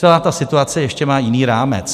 Celá ta situace má ještě jiný rámec.